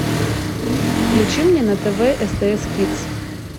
включи мне на тв стс кидс